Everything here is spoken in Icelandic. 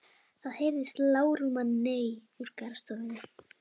Það heyrist lágróma nei úr garðstofunni.